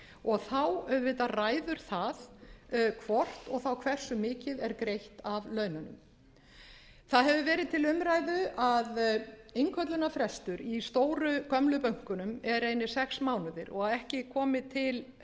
og þá auðvitað ræður það hvort og þá hversu mikið er greitt af laununum það hefur verið til umræðu að innköllunarfrestur í stóru gömlu bönkunum eru einir sex mánuðir og að ekki komi til